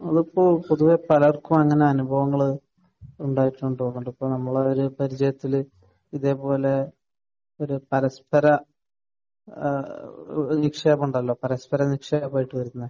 അത് ഇപ്പോൾ പൊതുവെ പലർക്കും അങ്ങനെ അനുഭവങ്ങൾ ഉണ്ടായിട്ടുണ്ടെന്നുള്ളതാണ്. ഇപ്പോൾ നമ്മൾ ഒരു പരിചയത്തിൽ ഇതുപോലെ ഒരു പരസ്പര ഏഹ് നിക്ഷേപമുണ്ടല്ലോ. പരസ്പര നിക്ഷേപമായിട്ട് വരുന്നത്.